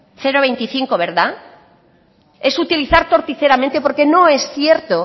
cero coma veinticinco verdad es utilizar torticeramente porque no es cierto